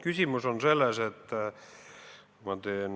Küsimus on selles, et kui ma teen